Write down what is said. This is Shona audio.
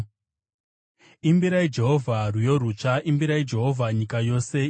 Imbirai Jehovha rwiyo rutsva; imbirai Jehovha, nyika yose.